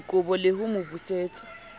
dikobo le ho mo busetsa